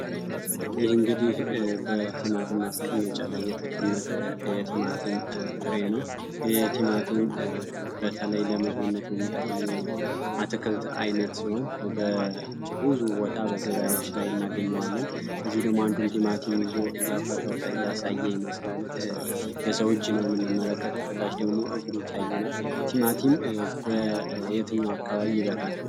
ይህ እንግዲህ በቲማቲም ማስቀመጫ ላይ እየተቀመጠ ፍሬ ነው የቲማቲም ፍሬ ነው ይህ ቲማቲም በተለይ ለምግብነት የሚጠቅም የአትክልት አይነት ሲሆን በብዙ ቦታ እናገኘዋለን ከዚህ ደግሞ አንዱን ቲማቲም ይዞ እያፈረጠ እያሳየ ይመስላል የሰው እጅ ነው የምንመለከተው ከታች ደግሞ እግር ይታየናል ቲማቲም በየትኛው አካባቢ ይበቅላል?